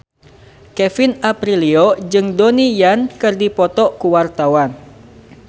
Kevin Aprilio jeung Donnie Yan keur dipoto ku wartawan